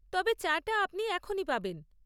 তবে, চা টা আপনি এখনই পাবেন।